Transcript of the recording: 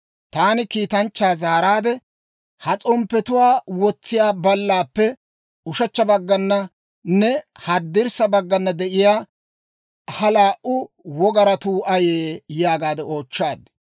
Taani kiitanchchaa zaaraade, «Ha s'omppiyaa wotsiyaa ballaappe ushechcha baggananne haddirssa baggana de'iyaa ha laa"u wogaratuu ayee?» yaagaade oochchaad.